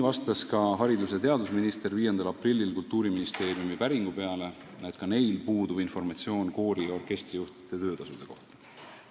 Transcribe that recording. Ka haridus- ja teadusminister vastas 5. aprillil Kultuuriministeeriumi päringu peale, et neilgi puudub informatsioon koori- ja orkestrijuhtide töötasude kohta.